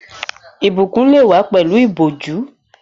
Ìbùkún lè wá pẹ̀lú ìbòjú